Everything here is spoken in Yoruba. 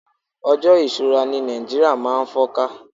ojo isura ni Naijiria ma n fọ́ká